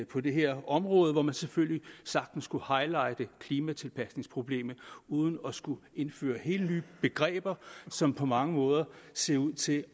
på det her område hvor man selvfølgelig sagtens kunne highlighte klimatilpasningproblemet uden at skulle indføre helt nye begreber som på mange måder ser ud til